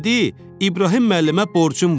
Dedi İbrahim müəllimə borcum var.